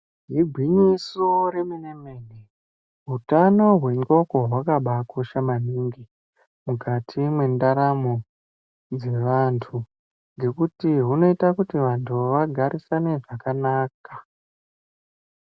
Igwinyiso remene-mene, utano hwendxondo hwakabakosha maningi mukati mwendaramo dzevantu ngekuti hunoita kuti vantu vagarisane zvakanaka.